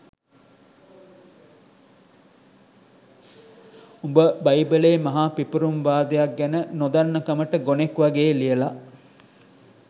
උඹ බයිබලයේ මහා පිපුපුරුම් වාදයක් ගැන නොදන්නකමට ගොනෙක්වගේ ලියල